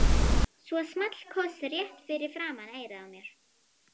Svo small koss rétt fyrir framan eyrað á mér.